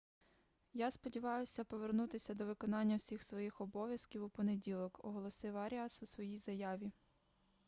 я сподіваюся повернутися до виконання всіх своїх обов'язків у понеділок - оголосив аріас у своїй заяві